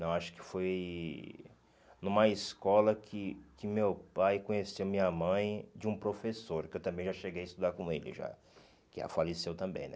Não, acho que foi numa escola que que meu pai conheceu minha mãe de um professor, que eu também já cheguei a estudar com ele já, que já faleceu também, né?